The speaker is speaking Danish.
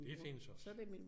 Det findes også